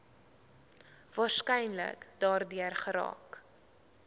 waarskynlik daardeur geraak